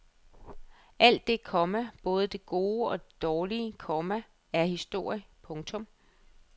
Alt det, komma både det gode og det dårlige, komma er historie. punktum